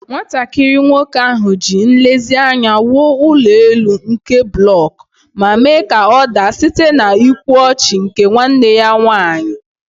Nwatakịrị nwoke ahụ ji nlezianya wuo ụlọ elu nke blọk, ma mee ka ọ daa site n'ịkwa ọchị nke nwanne ya nwanyị.